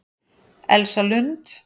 Elsa Lund